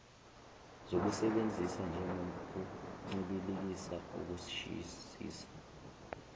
zokusebenzisa njengokuncibilikisa ukushisisa